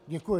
Děkuji.